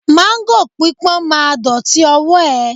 Máńgò pípọ́n ma dọ̀tí ọwọ́ ẹ